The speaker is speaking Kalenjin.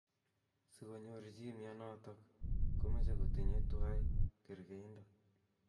Sikonyor chi mnyenotok komeche kotinye twai karkeindo.